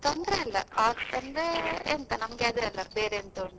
ತೊಂದ್ರೆ ಇಲ್ಲ ಆಗ್ತಂದ್ರೆ ಎಂತ ನಮ್ಗೆ ಅದೆ ಅಲ್ಲ, ಬೇರೆ ಎಂತ ಉಂಟು?